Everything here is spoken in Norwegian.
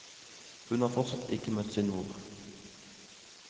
Hun har fortsatt ikke møtt sin mor.